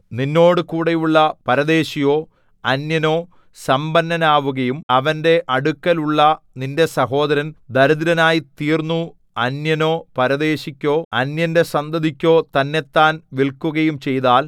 നിന്നോടുകൂടെയുള്ള പരദേശിയോ അന്യനോ സമ്പന്നനാവുകയും അവന്റെ അടുക്കലുള്ള നിന്റെ സഹോദരൻ ദരിദ്രനായിത്തീർന്നു അന്യനോ പരദേശിക്കോ അന്യന്റെ സന്തതിക്കോ തന്നെത്താൻ വില്ക്കുകയും ചെയ്താൽ